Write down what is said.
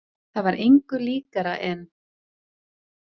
Það var engu líkara en.